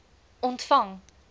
ontvang